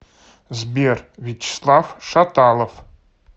сбер вячеслав шаталов